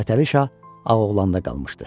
Fətəli Şah Ağoğlanda qalmışdı.